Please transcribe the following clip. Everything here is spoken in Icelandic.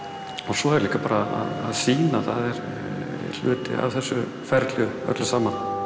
svo er bara að sýna það er hluti af þessu ferli öllu saman